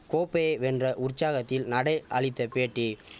கோப்பையை வென்ற உற்சாகத்தில் நடே அளித்த பேட்டி